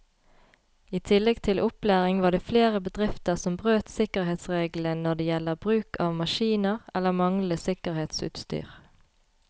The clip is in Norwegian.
I tillegg til opplæring var det flere bedrifter som brøt sikkerhetsreglene når det gjelder bruk av maskiner eller manglende sikkerhetsutstyr.